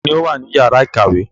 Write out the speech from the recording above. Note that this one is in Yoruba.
Ta ni ó wà ní ìyàrá-ìkàwé?